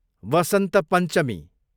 वसन्त पञ्चमी